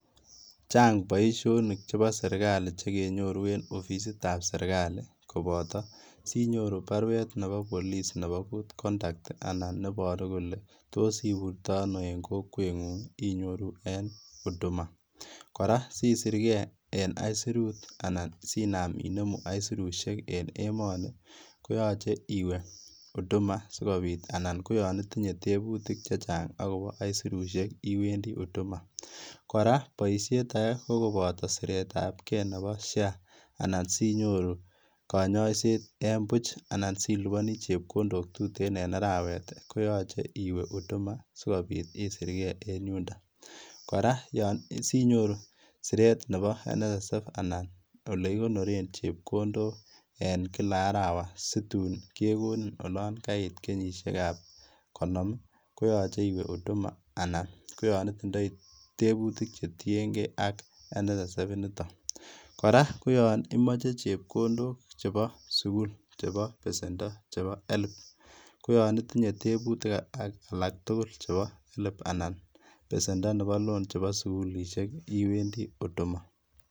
Chang boisionik chepo serikali chekenyoru en ofisitab serikali kopoto sinyoru baruet nepo polis nepo Goodconduct anan neboru kole tos iburtoi ano en kokwengung' inyoru en Huduma, kora sisirke en aisurut anan sinam inemu aisurisiek en emoni koyoche iwee Huduma sikopit anan koyon itinye tebutik chechang akopo aisurusiek iwendi Huduma, kora boisiet ake kokoboto siretabke nepo SHA anan sinyoru konyoiset en buch anan silipani chepkondok tuten en arawet koyoche iwee Huduma sikopi isirke en yundon ,kora sinyoru siret nepo NSSF anan ole kikonoren chepkondok en kila arawa situn kekonin olon kait kenyisiekab konom koyoche iwee Huduma anan koyon itindoi tebutik chetiengee ak NSSF inito, kora koyon imoche chepkondok chepo sugul chepo pesendo chepo Helb koyon itinye tebutik alak tugul chepo Helb anan ko pesendo nepo loan chepo sugulisiek iwendi Huduma.